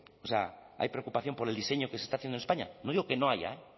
hay preocupación por el diseño que se está haciendo en españa no digo que no haya